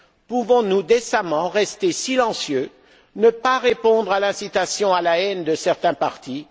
Pouvons nous décemment rester silencieux, ne pas répondre à l'incitation à la haine de certains partis?